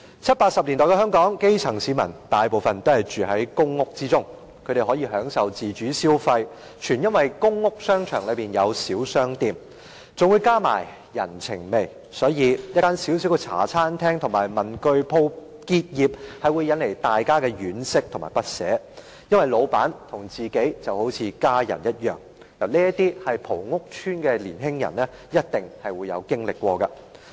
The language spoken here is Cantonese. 七八十年代的香港，大部分基層市民都住在公屋，他們可以享受自主消費，全因為公屋商場內有小商店，更加上人情味，所以，一間小小的茶餐廳和文具店結業，會引起大家的惋惜和不捨，因為老闆和自己就好像家人一樣，這些是曾在屋邨生活的年輕人一定經歷過的。